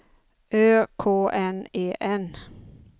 Ö K N E N